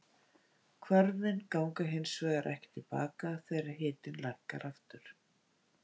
Hvörfin ganga hins vegar ekki til baka þegar hitinn lækkar aftur.